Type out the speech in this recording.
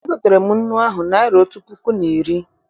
E gotere m nnu ahụ naịra otu puku na iri.